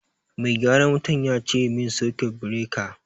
Mai gyaran wutan ya sace min sakut bireka